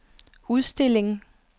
udstilling